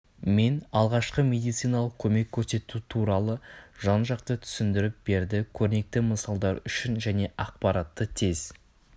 мен алғашқы медициналық көмек көрсету туралы жан-жақты түсіндіріп берді көрнекі мысалдар үшін және ақпаратты тез